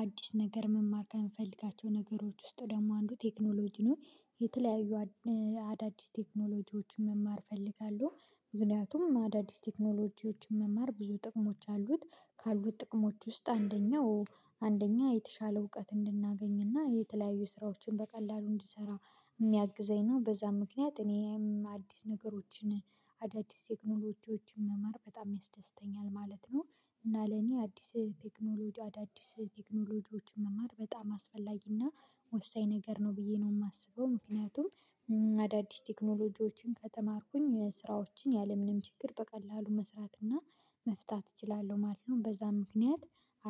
አዲስ ነገር መማር ከምፈልጋቸው ነገሮች ውስጥ ደግሞ አንዱ ቴክኖሎጂ ነው የተለያዩ አዳዲስ ቴክኖሎጂዎችን መማር እፈልጋለሁ። ምክንያቱም ማዳዲስ ቴክኖሎጂዎችን መማር ብዙ ጥቅሞች አሉት ካሉት ጥቅሞች ውስጥ አንደኛው አንደኛ የተሻለ እውቀት እንድናገኝ እና የተለያዩ ስራዎችን በቀላሉ እንድንሰራ የሚያግዘኝ ነው በዛም ምክንያት እኔም አዲስ ነገሮችን አዳዲስ ቴክኖሎጂዎችን መማር በጣም ያስደስተኛል ማለት ነው። እና ለኔ አዲስ ቴክኖሎጂ አዳዲስ ቴክኖሎጂዎችን መማር በጣም አስፈላጊ እና ወሳኝ ነገር ነው ብዬ ነው የማስበው ምክንያቱም አዳዲስ ቴክኖሎጂዎችን ከተማርኩኝ ስራዎችን ያለምንም ችግር በቀላሉ መስራት እና መፍታት እችላለሁ ማለት ነው። በዛም ምክንያት